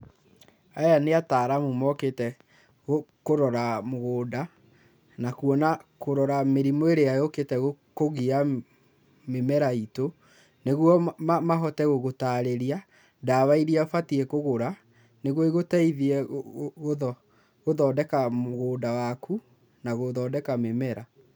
Aya nĩ ataaramu mokĩte kũrora mũgũnda na kuona, kũrora mĩrimũ ĩrĩa yũkĩte kũgia mĩmera itũ nĩguo mahote gũgũtarĩria ndawa iria ũbatiĩ kũgũra nĩguo igũteithie gũthondeka mũgũnda waku na gũthondeka mĩmera.